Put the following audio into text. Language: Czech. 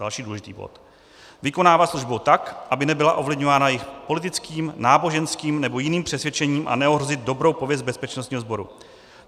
Další důležitý bod: vykonávat službu tak, aby nebyla ovlivňována jejich politickým, náboženským nebo jiným přesvědčením, a neohrozit dobrou pověst bezpečnostního sboru.